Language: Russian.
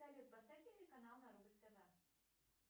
салют поставь телеканал на рубль тв